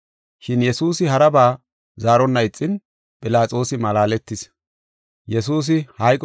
Shin Yesuusi haraba zaaronna ixin, Philaxoosi malaaletis.